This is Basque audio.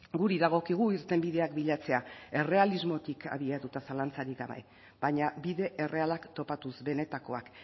guri dagokigu irtenbideak bilatzea errealismotik abiatuta zalantzarik gabe baina bide errealak topatuz benetakoak